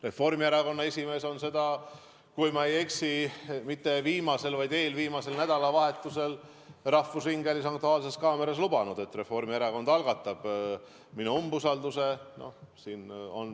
Reformierakonna esimees on, kui ma ei eksi, mitte viimasel, vaid eelviimasel nädalavahetusel rahvusringhäälingu "Aktuaalses kaameras" lubanud, et Reformierakond algatab minu umbusaldamise.